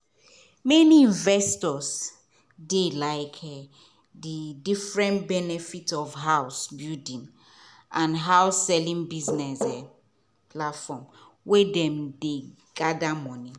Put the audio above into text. many investors dey like the different benefits of house-building and house-selling business um platforms wey dem dey gather money